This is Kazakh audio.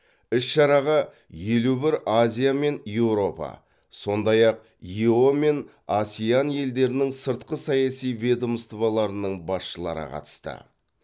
іс шараға елу бір азия мен еуропа сондай ақ ео мен асеан елдерінің сыртқы саяси ведомстволарының басшылары қатысты